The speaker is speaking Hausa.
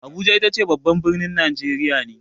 Abuja itace babban birnin Najeriya ne.